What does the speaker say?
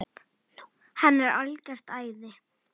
Hann er algert æði!